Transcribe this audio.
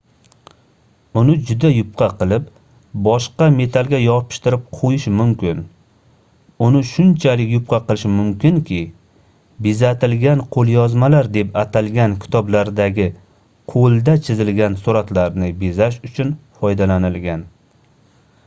uni juda yupqa qilib boshqa metallga yopishtirib qoʻyish mumkin uni shunchalik yupqa qilish mumkinki bezatilgan qoʻlyozmalar deb atalgan kitoblardagi qoʻlda chizilgan suratlarni bezash uchun foydalanilgan